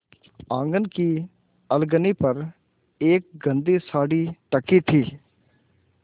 आँगन की अलगनी पर एक गंदी साड़ी टंगी थी